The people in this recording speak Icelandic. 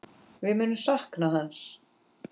Við munum sakna hans.